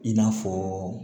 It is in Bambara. I n'a fɔ